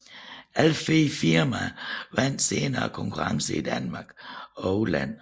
Alle fire firmaer vandt senere konkurrencer i Danmark og udlandet